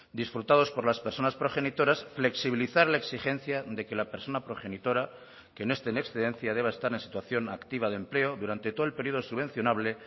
disfrutados por las personas progenitoras flexibilizar la exigencia de que la persona progenitora que no esté en excedencia deba estar en situación activa de empleo durante todo el periodo subvencionable